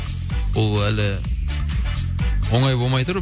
ол әлі оңай болмай тұр